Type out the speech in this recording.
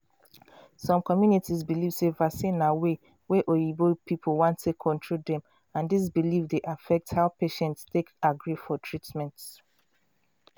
some communities believe sey vaccine na way wey oyibo people want take control dem and this belief dey affect how patients take agree for treatment.